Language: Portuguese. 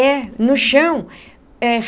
É. No chão é.